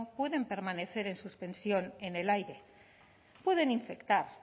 pueden permanecer en suspensión en el aire pueden infectar